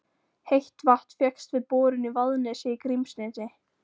Heitt vatn fékkst við borun í Vaðnesi í Grímsnesi.